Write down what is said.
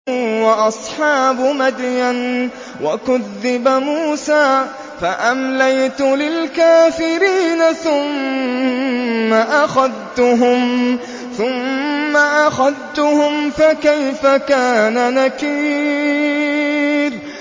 وَأَصْحَابُ مَدْيَنَ ۖ وَكُذِّبَ مُوسَىٰ فَأَمْلَيْتُ لِلْكَافِرِينَ ثُمَّ أَخَذْتُهُمْ ۖ فَكَيْفَ كَانَ نَكِيرِ